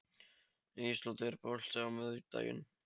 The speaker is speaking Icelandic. Ísold, er bolti á miðvikudaginn?